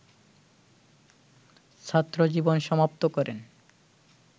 ছাত্রজীবন সমাপ্ত করেন